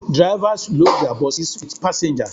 Drivers load their buses with passengers